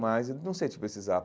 Mas não sei se precisava.